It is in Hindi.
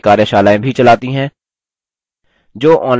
spoken tutorials का उपयोग करके कार्यशालाएँ भी चलाती है